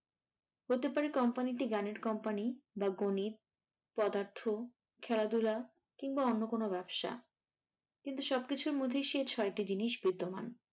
হতে পারে কোম্পানিটি গানের কোম্পানি বা গণিত, পদার্থ, খেলাধুলা কিংবা অন্য কোনো ব্যবসা। কিন্তু সবকিছুর মধ্যেই সেই ছয়টি জিনিস বিদ্যমান।